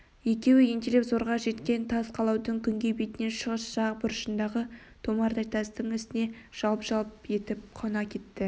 екеуі ентелеп зорға жеткен тас қалаудың күнгей бетінің шығыс жақ бұрышындағы томардай тастың үстіне жалп-жалп етіп қона кетті